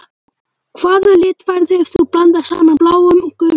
Hvaða lit færðu ef þú blandar saman bláum og gulum?